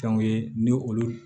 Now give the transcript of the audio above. Fɛnw ye ni olu